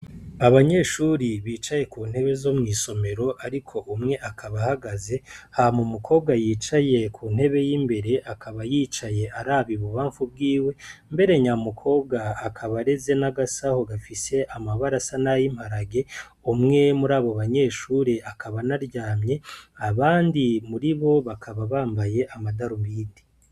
Abanyeshure bicaye ku ntebe zo mw'isomero ariko umwe akaba ahagaze, hama umukobwa yicaye ku ntebe y'imbere akaba yicaye araba i bubanfu bwiwe, mbere nya mukobwa akaba areze n'agasaho gafise amabara asa n'ayimparage, umwe muri abo banyeshure akaba anaryamye, abandi muri bo bakaba bambaye amatarubindi.